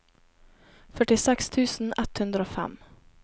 førtiseks tusen ett hundre og fem